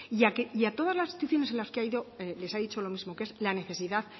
y a todas las instituciones a las que ha ido les ha dicho lo mismo que es la necesidad